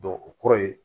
o kɔrɔ ye